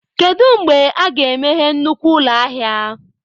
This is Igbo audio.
Kedu mgbe a ga-emeghe nnukwu ụlọ ahịa?